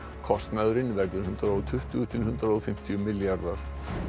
kostnaðurinn verður hundrað og tuttugu til hundrað og fimmtíu milljarðar